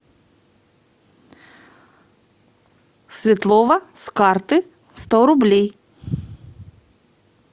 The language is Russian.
светлова с карты сто рублей